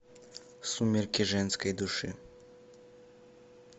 сумерки женской души